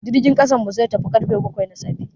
Jirgin kasan mu zai tafi karfe baƙwai na safe.